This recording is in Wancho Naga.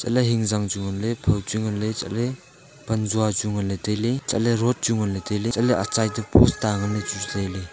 la ejam chu ngan le boh chu ngan le chatle pan jau chu nganle chatle pan joa road chu ngan le taile hantoh le atsai to post tuta chu ngan le taile.